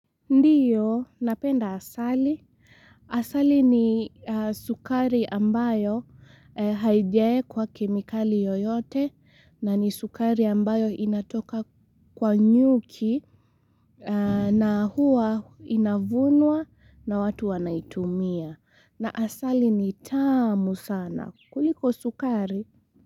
Ndiyo, napenda asali. Asali ni sukari ambayo haijaekwa kemikali yoyote na ni sukari ambayo inatoka kwa nyuki na huwa inavunwa na watu wanaitumia. Na asali ni tamu sana. Kuliko sukari.